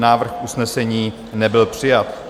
Návrh usnesení nebyl přijat.